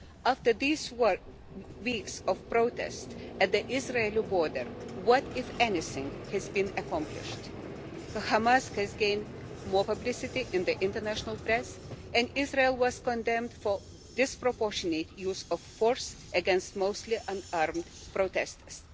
After these weeks of protests at the Israeli border what, if anything, has been accomplished? Hamas has gained more publicity in the international press and Israel was condemned for disproportionate use of force against mostly unarmed protesters.